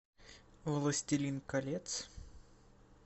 властелин колец